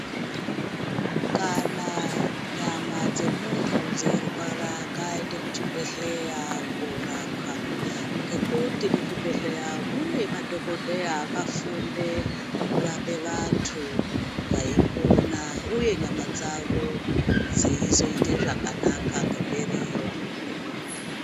Kana nyama dzemuntu dzeirwara ngaaende kuchibhedhlera kunorapwa nekuti kuchibhedhlera mune madokodhera akafunde kurapa vantu vaipona uye nyama dzavo dziyizoita zvakanaka ngemberiyo